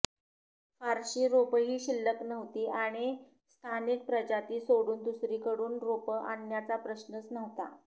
फारशी रोपंही शिल्लक नव्हती आणि स्थानिक प्रजाती सोडून दुसरीकडून रोपं आणण्याचा प्रश्नच नव्हता